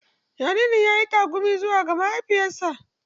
Jaririn ya yi tagumi zuwa ga mahaifiyarsa.